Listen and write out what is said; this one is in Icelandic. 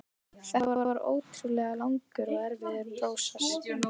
Þetta var ótrúlega langur og erfiður prósess.